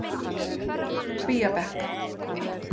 Kvíabekk